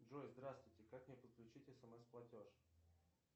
джой здравствуйте как мне подключить смс платеж